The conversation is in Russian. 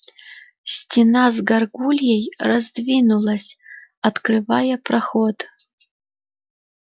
стена с гаргульей раздвинулась открывая проход